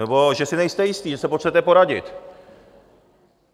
Nebo že si nejste jistý, že se potřebujete poradit.